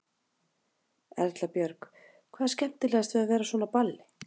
Erla Björg: Hvað er skemmtilegast við að vera á svona balli?